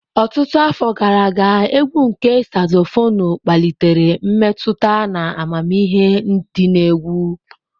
Ọtụtụ afọ gara aga, égwù nke Sazofonu kpalitere mmetụta na amamihe di na egwu.